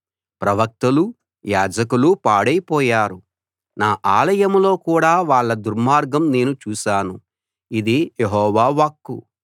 ప్రవక్తలూ యాజకులూ పాడైపోయారు నా ఆలయంలో కూడా వాళ్ళ దుర్మార్గం నేను చూశాను ఇది యెహోవా వాక్కు